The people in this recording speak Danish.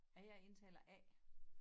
Jeg er indtaler A